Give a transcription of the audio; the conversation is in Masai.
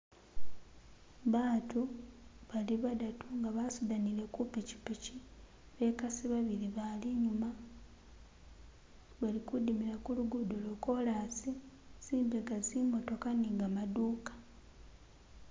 Batu bali badatu nga basudanile kupichipichi bekasi babili bali inyuma bali kudimila kulugudo lo kolasi zimbega zimotoka ni gamaduuka